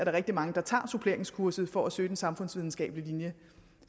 er rigtig mange der tager suppleringskurset for at søge den samfundsvidenskabelige linje